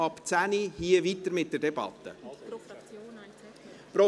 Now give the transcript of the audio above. Wir fahren hier um 10.05 Uhr mit der Debatte fort.